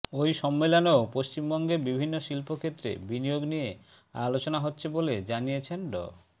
ওই সম্মেলনেও পশ্চিমবঙ্গে বিভিন্ন শিল্পক্ষেত্রে বিনিয়োগ নিয়ে আলোচনা হচ্ছে বলে জানিয়েছেন ড